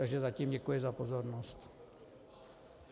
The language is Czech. Takže zatím děkuji za pozornost.